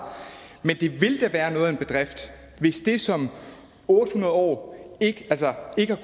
men det vil da være noget af en bedrift hvis det som otte hundrede år ikke